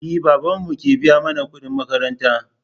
E, babanmu ke biya mana kuɗin makaranta mana.